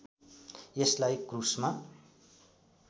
यसलाई क्रूसमा